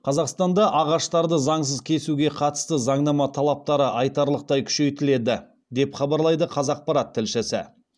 қазақстанда ағаштарды заңсыз кесуге қатысты заңнама талаптары айтарлықтай күшейтіледі деп хабарлайды қазақпарат тілшісі